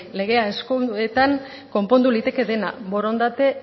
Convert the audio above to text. legea konpondu liteke dena borondate